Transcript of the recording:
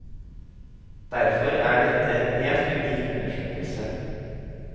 Derfor er dette en helt unik undersøkelse.